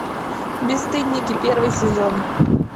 бесстыдники первый сезон